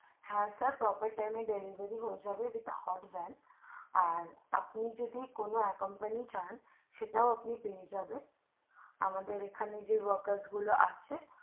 হ্যাঁ sir proper time এর মধ্যে delivery হয়ে যাবে with hope beads আর আপনি যদি কোনো accompany চান সে টাও আপনি পেয়ে যাবেন আমাদের এখানে যে works গুলো আছে